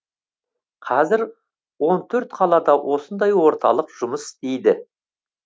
қазір он төрт қалада осындай орталық жұмыс істейді